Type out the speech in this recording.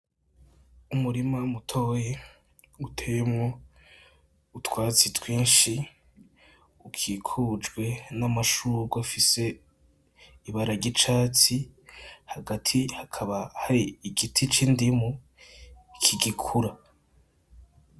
Umurima mutoyi uteyemwo utwatsi twinshi ikikujwe namashurwe afise ibara ryicatsi, hagati hakaba hari igiti c'indimu kigikura.